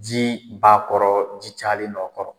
Ji bakɔrɔ ji cayalen nɔ kɔrɔ